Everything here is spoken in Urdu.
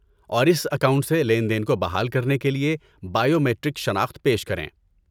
اور اس اکاؤنٹ سے لین دین کو بحال کرنے کے لیے بائیو میٹرک شناخت پیش کریں۔